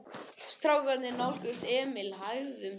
Strákarnir nálguðust Emil hægum skrefum.